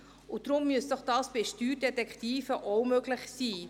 Deshalb müsse dies bei Steuerdetektiven auch möglich sein.